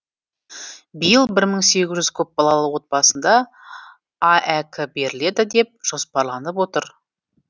биыл бір мың сегіз жүз көпбалалы отбасына аәк беріледі деп жоспарланып отыр